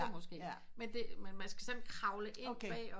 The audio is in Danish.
måske men man skal sådan kravle ind